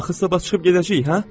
Axı sabah çıxıb gedəcəyik, hə?